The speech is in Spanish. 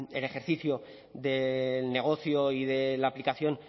el ejercicio del negocio y de la aplicación